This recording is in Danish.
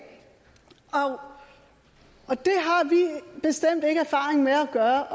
har vi bestemt ikke erfaring med at gøre